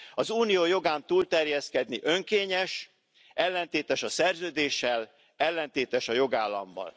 Az unió jogán túlterjeszkedni önkényes, ellentétes a Szerződéssel, ellentétes a jogállammal.